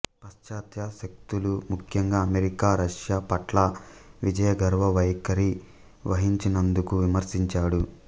పాశ్చాత్య శక్తులు ముఖ్యంగా అమెరికా రష్యా పట్ల విజయగర్వ వైఖరి వహించినందుకు విమర్శించాడు